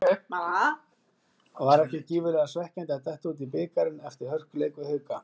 Var ekki gífurlega svekkjandi að detta út úr bikarnum eftir hörkuleik við Hauka?